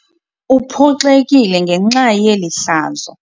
Uphoxekile ngenxa yeli hlazo.